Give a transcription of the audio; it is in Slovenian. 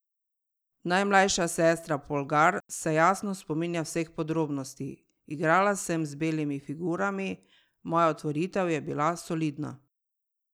Najmlajša sestra Polgar se jasno spominja vseh podrobnosti: 'Igrala sem z belimi figurami, moja otvoritev je bila solidna.